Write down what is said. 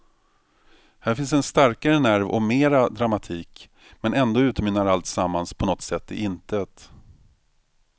Här finns en starkare nerv och mera dramatik, men ändå utmynnar alltsammans på något sätt i intet.